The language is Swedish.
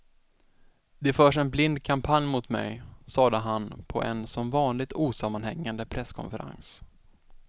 Det förs en blind kampanj mot mig, sade han på en som vanligt osammanhängande presskonferens.